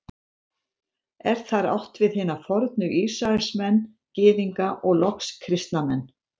Er þar átt við hina fornu Ísraelsmenn, Gyðinga og loks kristna menn.